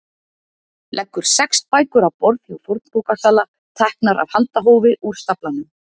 Leggur sex bækur á borð hjá fornbókasala, teknar af handahófi úr staflanum.